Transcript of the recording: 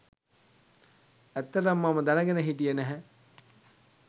ඇත්තටම මම දැනගෙන හිටියෙ නැහැ